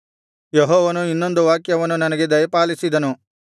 ಯೆಹೋವನು ಇನ್ನೊಂದು ವಾಕ್ಯವನ್ನು ನನಗೆ ದಯಪಾಲಿಸಿದನು